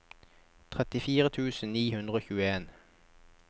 trettifire tusen ni hundre og tjueen